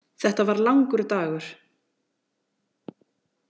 Þetta var langur dagur.